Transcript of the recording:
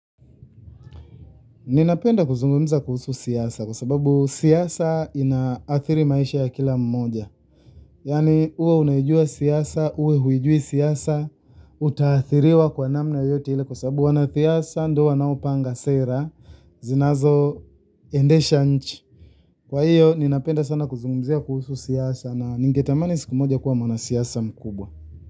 Ninapenda kuzungumza kuhusu siasa kwa sababu siasa inaathiri maisha ya kila mmoja yaani uwe unaijua siasa, uwe huijui siasa, utaathiriwa kwa namna yoyote ile kwa sababu wanasiasa ndio wanaopanga sera, zinazoendesha nchi. Kwa hiyo, ninapenda sana kuzungumzia kuhusu siasa na ningetamani siku moja kuwa mwana siasa mkubwa.